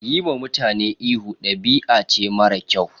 Yiwa mutane ihu, ɗabi'a ce mara kyau.